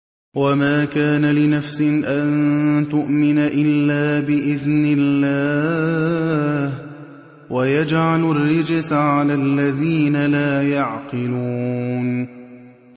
وَمَا كَانَ لِنَفْسٍ أَن تُؤْمِنَ إِلَّا بِإِذْنِ اللَّهِ ۚ وَيَجْعَلُ الرِّجْسَ عَلَى الَّذِينَ لَا يَعْقِلُونَ